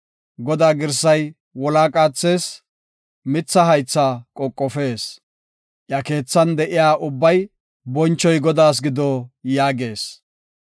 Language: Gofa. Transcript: Godaa girsay wolaa qaathees; mitha haythaa qoqofees. Iya keethan de7iya ubbay, “Bonchoy Godaas gido” yaagees.